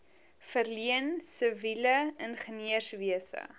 verleen siviele ingenieurswese